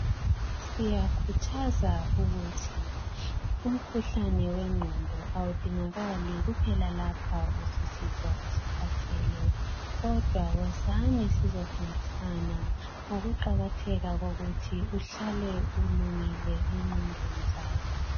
Siyakhuthaza ukuthi umkhuhlane wenqondo awudingakali kuphela lapha usizwa ukhathele kodwa wozani sizofundisana ngokuqakatheka komuthi uhlale ulungile ngenqondo zakho